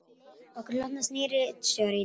Okkur hlotnast nýr ritstjóri í dag